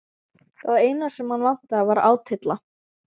Það eina sem hann vantaði var átylla.